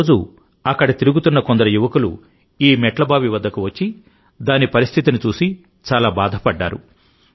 ఒకరోజు అక్కడ తిరుగుతున్న కొందరు యువకులు ఈ మెట్లబావి వద్దకు వచ్చి దాని పరిస్థితిని చూసి చాలా బాధపడ్డారు